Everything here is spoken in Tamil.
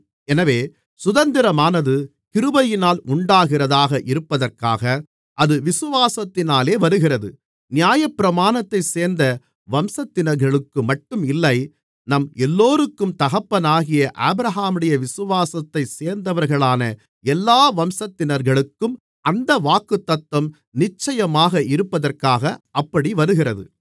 எனவே சுதந்திரமானது கிருபையினால் உண்டாகிறதாக இருப்பதற்காக அது விசுவாசத்தினாலே வருகிறது நியாயப்பிரமாணத்தைச் சேர்ந்த வம்சத்தினர்களுக்குமட்டும் இல்லை நம் எல்லோருக்கும் தகப்பனாகிய ஆபிரகாமுடைய விசுவாசத்தைச் சேர்ந்தவர்களான எல்லா வம்சத்தினர்களுக்கும் அந்த வாக்குத்தத்தம் நிச்சயமாக இருப்பதற்காக அப்படி வருகிறது